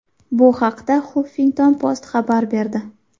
Bu haqda Huffington Post xabar berdi .